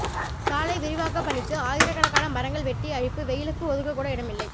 சாலை விரிவாக்கப்பணிக்கு ஆயிரக்கணக்கான மரங்கள் வெட்டி அழிப்பு வெயிலுக்கு ஒதுங்ககூட இடமில்லை